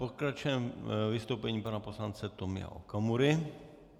Pokračujeme vystoupením pana poslance Tomio Okamury.